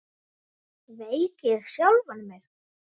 Sveik ég sjálfan mig?